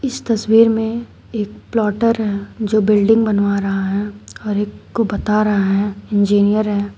इस तस्वीर में एक प्लॉटर पहै जो बिल्डिंग बनवा रहा है और एक को बता रहा है इंजीनियर है।